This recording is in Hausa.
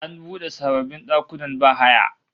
An bude sababbin dakunan bahaya